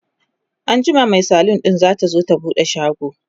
anjima Mai salon ɗin zatazo ta buɗe shago